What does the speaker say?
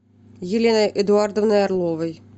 еленой эдуардовной орловой